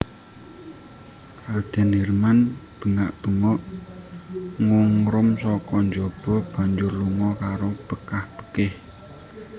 Radèn Hirman bengak bengok ngungrum saka jaba banjur lunga karo bekah bekih